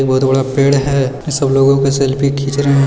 ये बहुत बड़ा पेड़ है सब लोग के सेल्फी खींच रहे है।